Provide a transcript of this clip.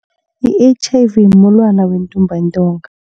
I-H_I_V mulwana wentumbantonga.